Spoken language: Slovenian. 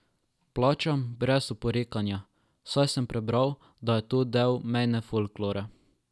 Plačam brez oporekanja, saj sem prebral, da je to del mejne folklore.